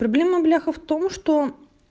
проблема бляха в том что